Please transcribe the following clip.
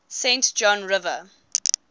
saint john river